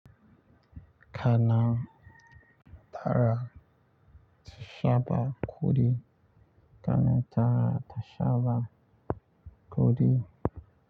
Kana tara shaban ƙudi. Kana tara ta shaba ƙuri.